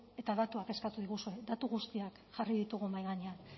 eta datuak eskatu diguzu datu guztiak jarri ditugu mahai gainean